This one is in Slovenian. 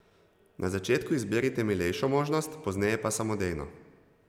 Na začetku izberite milejšo možnost, pozneje pa samodejno.